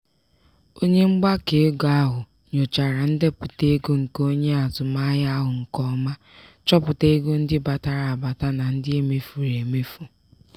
onye mgbakọego ahụ nyochara ndepụta ego nke onye azụmahịa ahụ nke ọma chọpụta ego ndị batara abata na ndị e mefuru emefu.